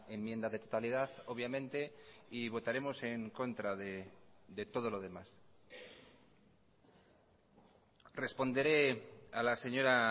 enmienda de totalidad obviamente y votaremos en contra de todo lo demás responderé a las señora